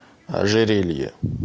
ожерелье